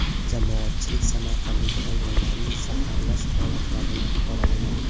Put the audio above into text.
Jamoatchilik Samarqanddagi hayvonlarni zaharlash holatlarini qoralamoqda.